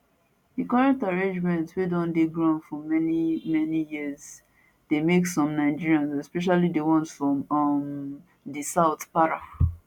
dis current arrangement wey don dey ground for many many years dey make some nigerians especially di ones from um di south para